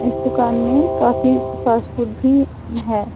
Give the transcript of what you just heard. इस दुकान में काफी फास्ट फूड भी है।